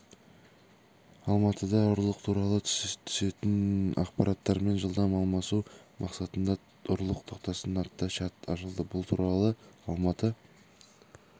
алматыда ұрлық туралы түсетін ақпараттармен жылдам алмасу мақсатында ұрлық тоқтасын атты чат ашылды бұл туралы алматы